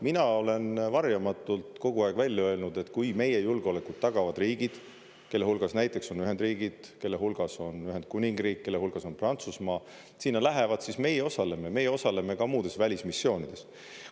Mina olen varjamatult kogu aeg välja öelnud, et kui meie julgeolekut tagavad riigid, kelle hulgas näiteks on Ühendriigid, kelle hulgas on Ühendkuningriik, kelle hulgas on Prantsusmaa, sinna lähevad, siis meie osaleme, meie osaleme ka muudes välismissioonides.